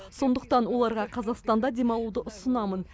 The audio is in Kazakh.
сондықтан оларға қазақстанда демалуды ұсынамын